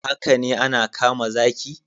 Haka ne ana kama zaki